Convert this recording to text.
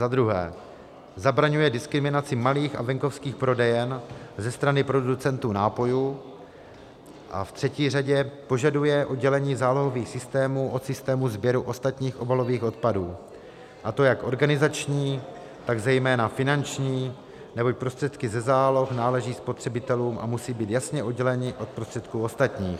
Za druhé zabraňuje diskriminaci malých a venkovských prodejen ze strany producentů nápojů a ve třetí řadě požaduje oddělení zálohových systémů od systému sběru ostatních obalových odpadů, a to jak organizační, tak zejména finanční, neboť prostředky ze záloh náleží spotřebitelům a musí být jasně odděleny od prostředků ostatních.